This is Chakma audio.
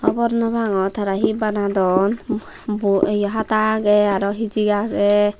hobor nopangor tara hi banadon um bo ye hata agey araw hijik age.